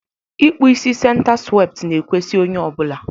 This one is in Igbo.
ikpụ isi senta swepti na-ekwesi onye ọ bụla